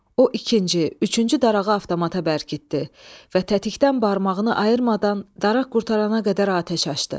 O ikinci, üçüncü darağı avtomata bərkitdi və tətikdən barmağını ayırmadan daraq qurtarana qədər atəş açdı.